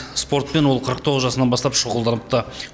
спортпен ол қырық тоғыз жасынан бастап шұғылданыпты